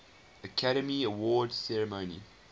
academy awards ceremony